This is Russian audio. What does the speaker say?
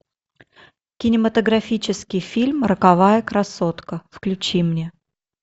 кинематографический фильм роковая красотка включи мне